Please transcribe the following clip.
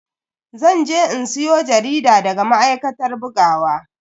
Zan je in siyo jarida daga ma'aikatar bugawa.